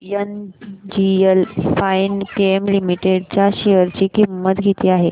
आज NGL Finechem limited share शेअर ची किंमत किती आहे